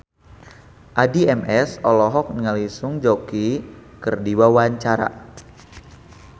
Addie MS olohok ningali Song Joong Ki keur diwawancara